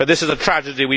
This is a tragedy.